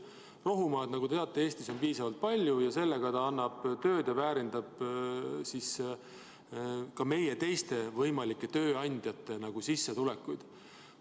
Rohumaad, nagu te teate, on Eestis piisavalt palju ning oma tegevusega annab ta tööd ja väärindab ka meie teiste võimalike tööandjate sissetulekuid.